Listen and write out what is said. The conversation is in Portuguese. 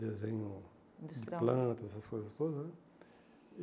Desenho (industrial) de plantas, essas coisas todas, né?